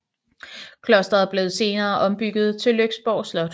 Klosteret blev senere ombygget til Lyksborg Slot